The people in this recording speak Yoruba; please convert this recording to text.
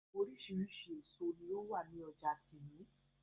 Oríṣiríṣi èso ní ó wà ní ọjà tìmì